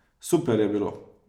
Super je bilo!